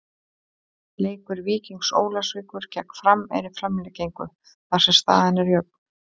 Leikur Víkings Ólafsvíkur gegn Fram er í framlengingu þar sem staðan er jöfn.